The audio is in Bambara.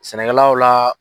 Sɛnɛkɛlaw la.